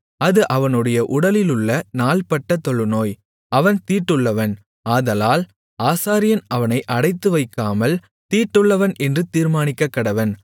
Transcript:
அது அவனுடைய உடலிலுள்ள நாள்பட்ட தொழுநோய் அவன் தீட்டுள்ளவன் ஆதலால் ஆசாரியன் அவனை அடைத்துவைக்காமல் தீட்டுள்ளவன் என்று தீர்மானிக்கக்கடவன்